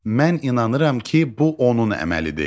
Mən inanıram ki, bu onun əməlidir.